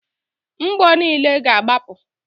Mgbo niile ga-agbapụ.